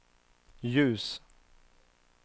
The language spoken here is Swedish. ljus